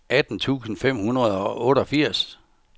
atten tusind fem hundrede og otteogfirs